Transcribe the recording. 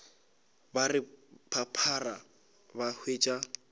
ba re phaphara ba hwetša